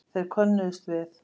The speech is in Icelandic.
Þeir könnuðust við